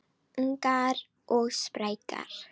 Ungar og sprækar